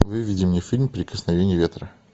выведи мне фильм прикосновение ветра